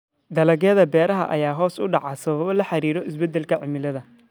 Dalagyada beeraha ayaa hoos u dhacay sababo la xiriira isbeddelka cimilada.